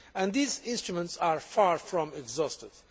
These instruments are far from exhaustive.